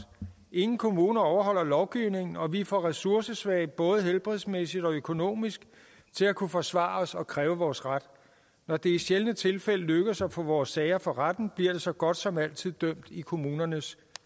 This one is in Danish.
ingen kommuner overholder lovgivningen og vi er for ressourcesvage både helbredsmæssigt og økonomisk til at kunne forsvare os og kræve vores ret når det i sjældne tilfælde lykkes at få vores sager for retten bliver der så godt som altid dømt i kommunernes